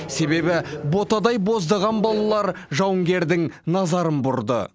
себебі ботадай боздаған балалар жауынгердің назарын бұрды